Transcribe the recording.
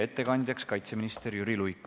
Ettekandja on kaitseminister Jüri Luik.